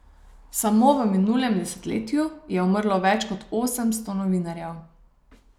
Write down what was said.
Samo v minulem desetletju je umrlo več kot osemsto novinarjev.